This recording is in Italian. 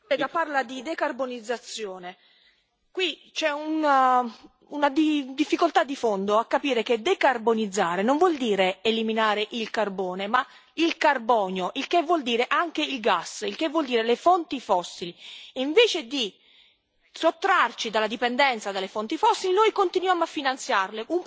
Si parla di decarbonizzazione ma qui c'è una difficoltà di fondo a capire che decarbonizzare non vuol dire eliminare il carbone, ma il carbonio, il che vuol dire anche il gas, il che vuol dire le fonti fossili, e invece di sottrarci dalla dipendenza delle fonti fossili noi continuiamo a finanziarle.